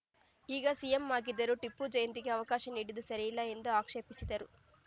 ಈಗ ಸಿಎಂ ಆಗಿದ್ದರೂ ಟಿಪ್ಪು ಜಯಂತಿಗೆ ಅವಕಾಶ ನೀಡಿದ್ದು ಸರಿಯಲ್ಲ ಎಂದು ಆಕ್ಷೇಪಿಸಿದರು